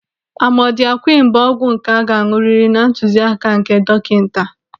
Amodịakwịn bụ ọgwụ nke a ga-an̄ụrịrị na ntuzi áká nke dọkịnta